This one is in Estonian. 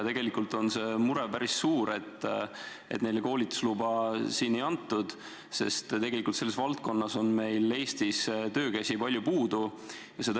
Tegelikult on see mure päris suur, et neile koolitusluba siin ei antud, sest selles valdkonnas on meil Eestis töökäsi palju puudu.